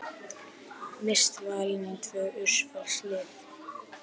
Mist valin í tvö úrvalslið